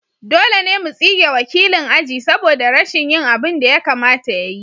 Dole ne mu tsige wakilin aji saboda rashin yin abin da ya kamata ya yi.